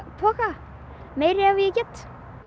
poka meira ef ég get